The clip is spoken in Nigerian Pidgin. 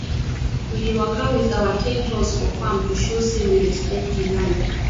we dey waka with our ten toes for farm to show say we respect di land